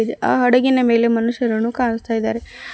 ಆ ಹಡಗಿನ ಮೇಲೆ ಮನುಷ್ಯರನ್ನು ಕಾಣಸ್ತಾಇದಾರೆ.